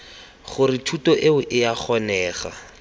gore thuto eo ea kgonega